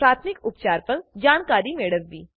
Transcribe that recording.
પ્રાથમિક ઉપચાર પર જાણકારી મેળવવી